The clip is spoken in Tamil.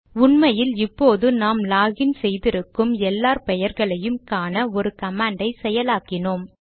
உண்மையில் இப்போது நாம் லாக் இன் செய்திருக்கும் எல்லார் பெயர்களையும் காண ஒரு கமாண்டை செயலாக்கினோம்